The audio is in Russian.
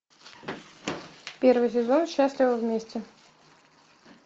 первый сезон счастливы вместе